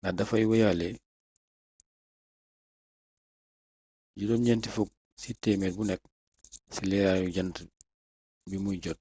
ndax dafay wéyale 90% ci leeraaru jant bi muy jot